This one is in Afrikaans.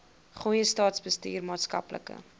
goeie staatsbestuur maatskaplike